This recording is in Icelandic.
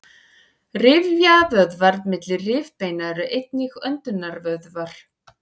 rifjavöðvar milli rifbeina eru einnig öndunarvöðvar